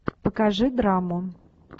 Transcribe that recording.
покажи драму